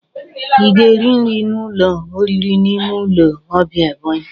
I ga-eri nri n'ụlọ oriri n'ime ụlọ ọbia Ebonyi?